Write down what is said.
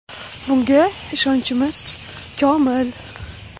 Bunga ishonchimiz komil.